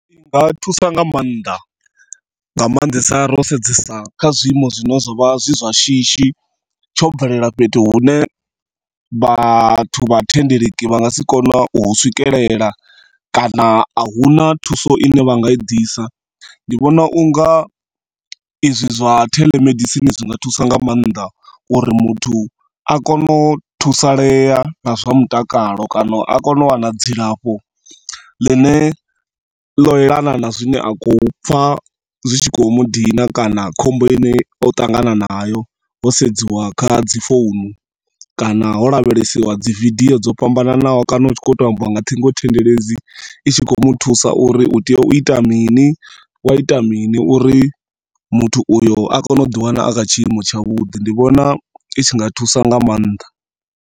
I nga thusa nga maanḓa, nga maanḓesa ro sedzesa kha zwiimo zwine zwa vha zwi zwa shishi, tsho bvelela fhethu hune vhathu vha thendeleki vha nga si kone u hu swikelela kana ahuna thuso ine vha nga i ḓisa. Ndi vhona unga ezwi zwa telemedicine zwinga thusa nga maanḓa uri muthu a kone u thusalea nga zwa mutakalo kana a kone u wana dzilafho ḽine ḽo elana na zwine a khou pfa zwi tshi khou mudina kana khombo ine o ṱangana na yo ho sedziwa kha dzi founu kana ho lavhelesiwa dzi video dza fhambananaho kana hu tshi khou to ambiwa nga thingothendeleki i tshi khou muthusa uri u tea u ita mini wa ita mini uri muthu uyo a kone u ḓi wanna a kha tshiimo tshavhuḓi. Ndi vhona i tshi nga thusa nga maanḓa.